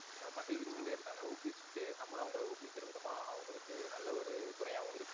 நம்பல மகிழ்விச்சிடே ஹம் இருக்காங்க. ஊக்குவிச்சிட்டு நம்பளும் அவங்கள ஊக்குவிக்கிற விதமா அவங்களுக்கு நல்ல ஒரு துணையாவும் இருக்கோம்.